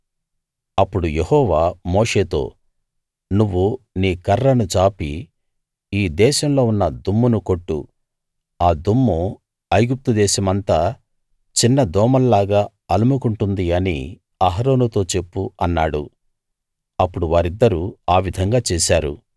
అప్పుడు యెహోవా మోషేతో నువ్వు నీ కర్రను చాపి ఈ దేశంలో ఉన్న దుమ్మును కొట్టు ఆ దుమ్ము ఐగుప్తు దేశమంతా చిన్న దోమల్లాగా అలుముకుంటుంది అని అహరోనుతో చెప్పు అన్నాడు అప్పుడు వారిద్దరూ ఆ విధంగా చేశారు